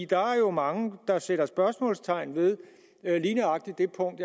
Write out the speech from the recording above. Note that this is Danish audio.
der er jo mange der sætter spørgsmålstegn ved lige nøjagtig det punkt